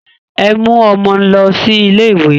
Ẹ mú ọmọ lọ sí ilé ìwé!